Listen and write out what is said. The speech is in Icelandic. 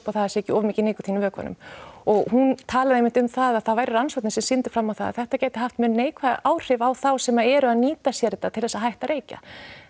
að það sé ekki of mikið nikótín í vökvanum og hún talar einmitt um það að það væru rannsóknir sem sýndu fram á það að þetta gæti haft mjög neikvæð áhrif á þá sem eru að nýta sér þetta til þess að hætta að reykja